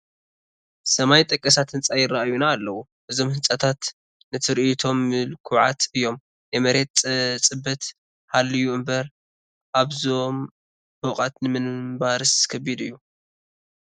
ሰማይ ጠቀሳት ህንፃ ይርአዩና ኣለዉ፡፡ እዞም ህንፃታት ንትርኢቶም ምልኩዓት እዮም፡፡ ናይ መሬት ፅበት ሃልዩ እምበር ኣብዞም ፎቋት ንምንባርስ ከቢድ እዩ፡፡